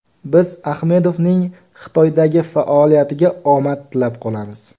Biz Ahmedovning Xitoydagi faoliyatiga omad tilab qolamiz.